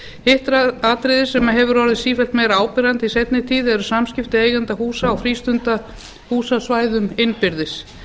að hitt atriðið sem hefur orðið sífellt meira áberandi í seinni tíð eru samskipti eigenda húsa og frístundahúsa á svæðum innbyrðis